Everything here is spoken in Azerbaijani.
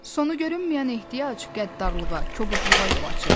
Sonu görünməyən ehtiyac qəddarlığa, kobudluğa yol açırdı.